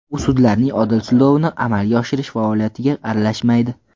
U sudlarning odil sudlovni amalga oshirish faoliyatiga aralashmaydi.